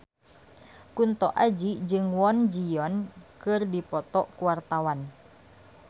Kunto Aji jeung Kwon Ji Yong keur dipoto ku wartawan